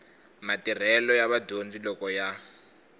matirhelo ya vadyondzi loko ya